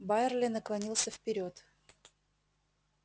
байерли наклонился вперёд